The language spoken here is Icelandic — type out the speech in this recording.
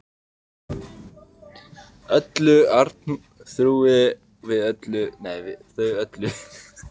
Öllu, Arnþrúði, við þau öll.